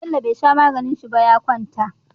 Bello be sha maganin shi ba ya kwanta